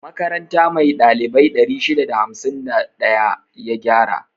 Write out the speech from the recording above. Makaranta mai ɗalibai 651 ya gyara.